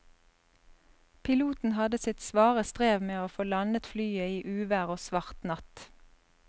Piloten hadde sitt svare strev med å få landet flyet i uvær og svart natt.